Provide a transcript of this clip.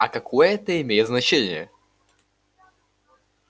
а какое это имеет значение